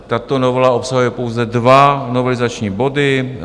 Tato novela obsahuje pouze dva novelizační body.